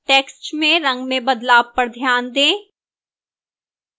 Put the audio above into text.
text में रंग में बदलाव पर ध्यान दें